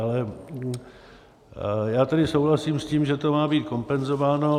Ale já tedy souhlasím s tím, že to má být kompenzováno.